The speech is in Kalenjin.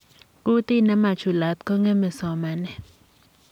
Kutit ne ma chulat ko ng'emei somanet.